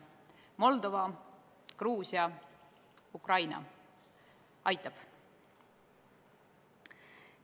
Moldova, Gruusia, Ukraina – aitab!